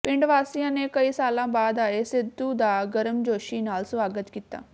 ਪਿੰਡ ਵਾਸੀਆਂ ਨੇ ਕਈ ਸਾਲਾਂ ਬਾਅਦ ਆਏ ਸਿੱਧੂ ਦਾ ਗਰਮਜੋਸ਼ੀ ਨਾਲ ਸਵਾਗਤ ਕੀਤਾ